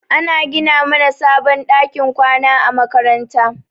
Ana gina mana sabon ɗakin kwana a makaranta.